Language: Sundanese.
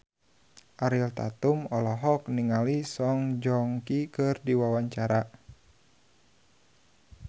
Ariel Tatum olohok ningali Song Joong Ki keur diwawancara